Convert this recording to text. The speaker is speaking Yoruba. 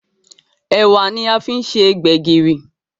Ẹ̀wà ní a fí se gbegiri